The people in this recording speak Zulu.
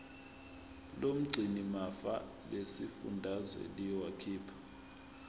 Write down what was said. lomgcinimafa lesifundazwe liyokhipha